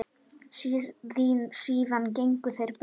Síðan gengu þeir burt.